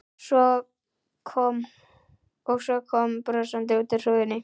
Og kom svo brosandi út úr hrúgunni.